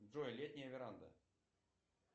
джой летняя веранда